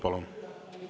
Palun!